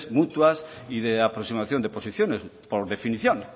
mutuas y de aproximación de posiciones por definición